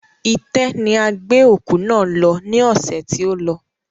Itẹ́ ni a gbé òkú náà lọ ní ọsẹ̀ tí o lọ